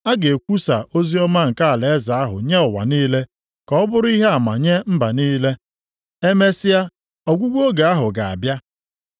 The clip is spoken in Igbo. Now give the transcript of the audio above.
A ga-ekwusa oziọma nke alaeze ahụ nye ụwa niile ka ọ bụrụ ihe ama nye mba niile. Emesịa ọgwụgwụ oge ahụ ga-abịa.